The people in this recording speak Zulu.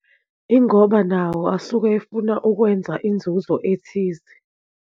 Ingoba nawo asuke efuna ukwenza inzuzo ethize.